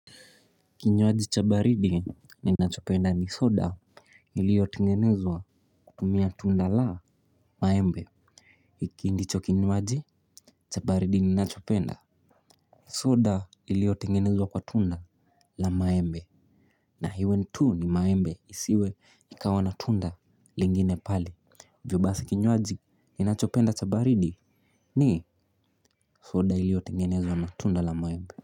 Kinywaji cha baridi ninachopenda ni soda, iliyo tengenezwa kutumia tunda la maembe. Hiki ndicho kinywaji cha baridi ninachopenda. Soda iliyotengenezwa kwa tunda, la maembe. Na iwe tu ni maembe, isiwe ikawa na tunda lingine pale. Hivyo basi kinywaji ninachopenda chabaridi ni soda iliyotengenezwa na tunda la maembe.